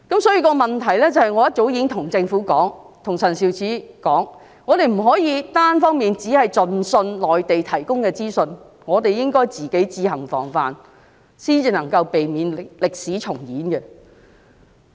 所以，我早已跟政府和陳肇始說，我們不可以單方面相信內地提供的資訊，而是應該自行防範，這樣才能避免歷史重演。